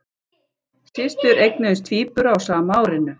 Systur eignuðust tvíbura á sama árinu